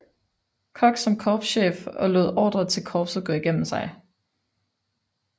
Cox som korpschef og lod ordrer til korpset gå igennem sig